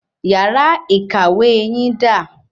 Yàrá ìkàwé yín da?